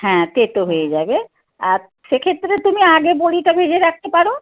হ্যাঁ তেতো হয়ে যাবে। আর সেক্ষেত্রে তুমি আগে বড়িটা ভেজে রাখতে পারো।